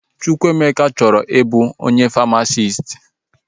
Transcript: Chukwuemeka chọrọ ị bụ famasisti